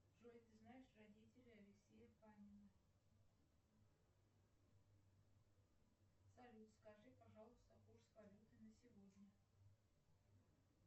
джой ты знаешь родителей алексея панина салют скажи пожалуйста курс валюты на сегодня